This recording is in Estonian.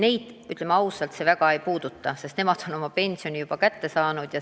Neid ennast, ütleme ausalt, see teema väga ei puuduta, sest nemad on oma pensioni juba kätte saanud.